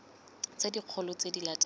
tse dikgolo tse di latelang